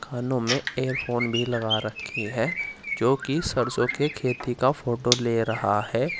कानों में एयरफोन भी लगा रखी है जो कि सरसों के खेती का फोटो ले रहा है।